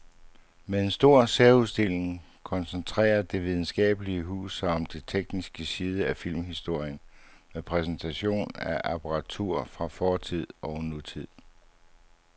Med en stor særudstilling koncentrerer det videnskabelige hus sig om den tekniske side af filmhistorien med præsentation af apparatur fra fortid og nutid.